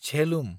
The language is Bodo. झेलुम